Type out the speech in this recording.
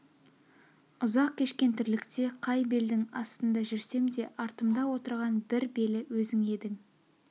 ұзақ кешкен тірлікте қай белдің астында жүрсем де артымда отырған бір белі өзің едің